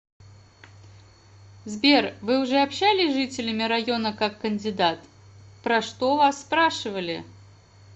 сбер вы уже общались с жителями района как кандидат про что вас спрашивали